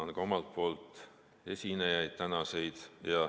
Tänan ka omalt poolt tänaseid esinejaid.